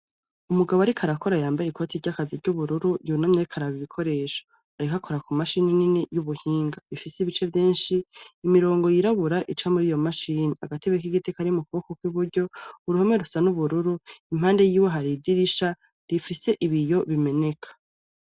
Umugabo ariko arakora yambaye ikoti ry'akazi ry'ubururu, yunamye ariko araba ibikoresho arikakora ku mashini nini y'ubuhinga, rifise ibice vyenshi imirongo yirabura ica muri iyo mashini, agatebe k'igite kari mu kuboko kw'iburyo, uruhome rusa n'ubururu impande yiwe hariridirisha rifise ibiyo bimeneka.